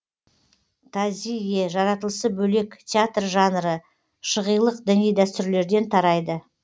тазийе жаратылысы бөлек театр жанры шығилық діни дәстүрлерден тарайды